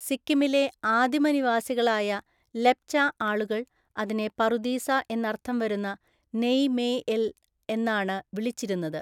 സിക്കിമിലെ ആദിമ നിവാസികളായ ലെപ്ച ആളുകൾ അതിനെ പറുദീസ എന്നർത്ഥം വരുന്ന നെയ് മേ എൽ എന്നാണ് വിളിച്ചിരുന്നത്.